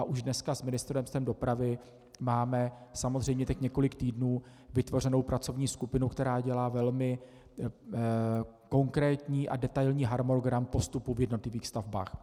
A už dneska s Ministerstvem dopravy máme samozřejmě teď několik týdnů vytvořenou pracovní skupinu, která dělá velmi konkrétní a detailní harmonogram postupu v jednotlivých stavbách.